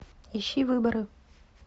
ищи выборы